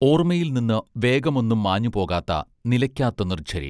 ഓർമ്മയിൽ നിന്ന് വേഗമൊന്നും മാഞ്ഞുപോകാത്ത നിലക്കാത്ത നിർഝരി